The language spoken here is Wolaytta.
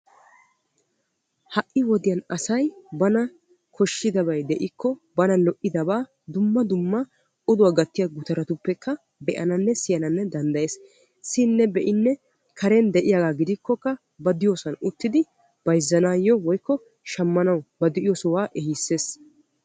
Ha"i wodiyan asay bana koshshidabay de"ikko bana lo"idabaa dumma dumma oduwaa gattiyaa gutarattuppekka be"ananne siyananne danddayees. Siyidinne be"idinne karen de"iyaaga gidikkokka ba diyoosan uttidi bayzzanaayyo woykko shammanaw ba de"iyoo sohuwaa ehisses.